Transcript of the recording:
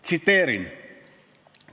Tsiteerin: "...